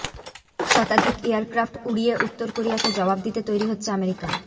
শতাধিক এয়ারক্রাফট উড়িয়ে উত্তর কোরিয়াকে জবাব দিতে তৈরি হচ্ছে আমেরিকা